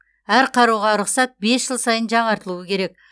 әр қаруға рұқсат бес жыл сайын жаңартылуы керек